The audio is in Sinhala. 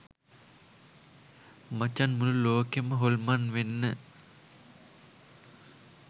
මචන් මුළු ලෝකෙම හොල්මන් වෙන්න